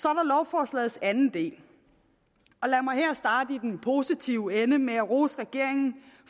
så anden del og lad mig her starte i den positive ende med at rose regeringen